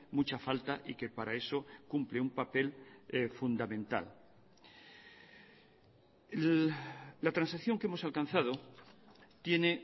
mucha falta y que para eso cumple un papel fundamental la transacción que hemos alcanzado tiene